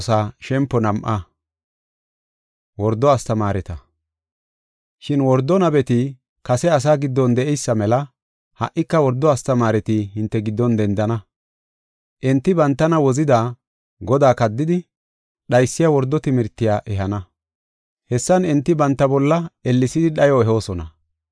Shin wordo nabeti kase asaa giddon de7eysa mela ha77ika wordo astamaareti hinte giddon dendana. Enti bantana wozida, Godaa kaddidi, dhaysiya wordo timirtiya ehana. Hessan enti banta bolla ellesidi dhayo ehoosona.